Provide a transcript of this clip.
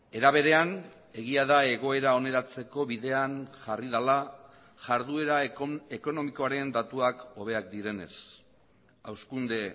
era berean egia da egoera oneratzeko bidean jarri dela jarduera ekonomikoaren datuak hobeak direnez hazkunde